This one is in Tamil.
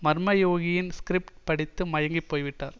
மர்ம யோகியின் ஸ்கிரிப்ட் படித்து மயங்கிப் போய் விட்டார்